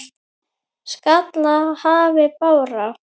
skall í hafi bára.